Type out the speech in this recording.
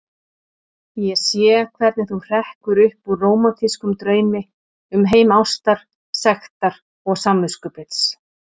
Ég sé hvernig þú hrekkur upp úr rómantískum draumi um heim ástar, sektar og samviskubits.